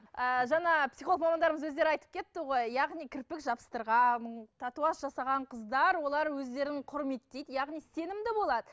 ы жаңа психолог мамандарымыз өздері айтып кетті ғой яғни кірпік жабыстырған татуаж жасаған қыздар олар өздерін құрметтейді яғни сенімді болады